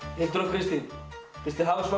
Hildur og Kristín fyrst þið hafið svona